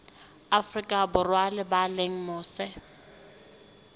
afrika borwa ba leng mose